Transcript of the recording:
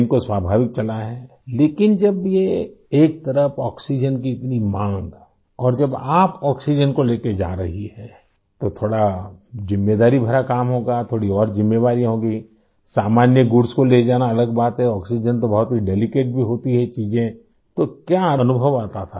train को स्वाभाविक चलाया है लेकिन जब ये एक तरफ़ आक्सीजेन की इतनी माँग और जब आप आक्सीजेन को ले के जा रही हैं तो थोड़ा ज़िम्मेदारी भरा काम होगा थोड़ी और ज़िम्मेवारियाँ होंगी सामान्य गुड्स को ले जानाअलग बात है आक्सीजेन तो बहुत ही डेलिकेट भी होती है ये चीज़ें तो क्या अनुभव आता था